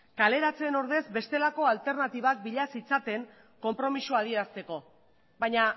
kaleratzeen ordez bestelako alternatibak bila zitzaten konpromezua adierazteko baina